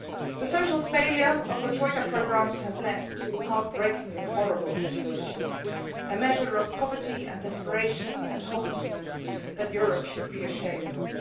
The social failure of the Troika programmes has led to heart breakingly horrible situations, a measure of poverty and desperation and hopelessness that Europe should be ashamed of.